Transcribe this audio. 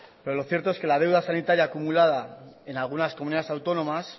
pero lo cierto es que la deuda sanitaria acumulada en algunas comunidades autónomas